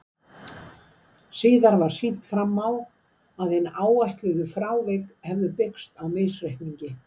Síðar var sýnt fram á að hin áætluðu frávik hefðu byggst á misreikningi.